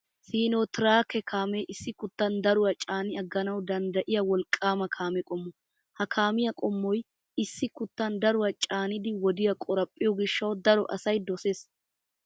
Siinotiraake kaamee issi kuttan daruwaa caani agganawu danddayiya wolqqaama kaame qommo. Ha kaamiyaa qommoy issi kuttan daruwaa caanidi wodiya qoraphphiyo gishshawu daro asay dosees.